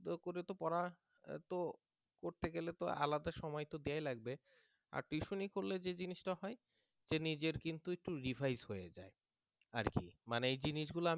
করে পড়তে গেলে তো আলাদা সময় তো দেয়াই লাগবে আর tuition করলে যে জিনিসটা হয় যে নিজের কিন্তু একটু revise হয়ে যায় আর কি মানে এই জিনিসগুলা